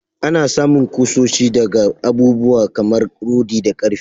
Anna samun kushoshi daga abubuwa kamar rodi da karfe.